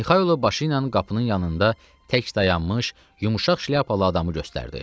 Mixailo başı ilə qapının yanında tək dayanmış, yumşaq şlyapalı adamı göstərdi.